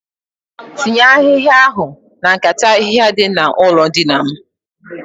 Tinye ahihaia ahụ na nkata ahihia dị n'ụlọ dina m